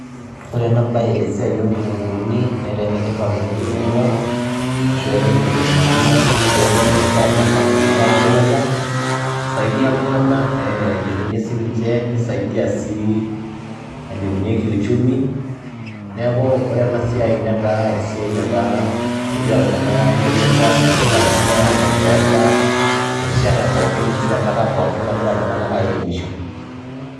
Ore ena baye esiai oo nkitung'uuni netaa ene tipat oleng' te murua ashu etaa entoki e maana etaa entoki e tipat nagira iltung'anak aendeleza, isaidia iltung'anak ee ailepunye sininje, nisaidia sii ailepunye kiuchumi. Neeku ore ena siai netaa esiai netaa kegira iltung'anak aendeleza ashu kegira iltung'anak aarep peesa erishata pookin ashu enkata pookin nagira iltung'anak airemisho.